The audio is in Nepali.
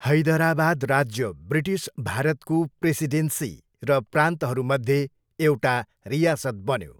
हैदराबाद राज्य ब्रिटिस भारतको प्रेसिडेन्सी र प्रान्तहरूमध्ये एउटा रियासत बन्यो।